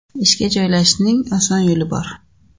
Ishga joylashishning oson yo‘li bor!.